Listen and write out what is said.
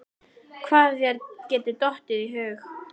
Hvað þér getur dottið í hug.